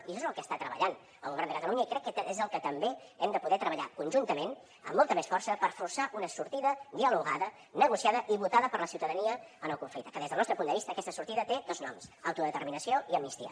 i això és el que està treballant el govern de catalunya i crec que és el que també hem de poder treballar conjuntament amb molta més força per forçar una sortida dialogada negociada i votada per la ciutadania en el conflicte que des del nostre punt de vista aquesta sortida té dos noms autodeterminació i amnistia